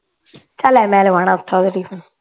ਓਥੋ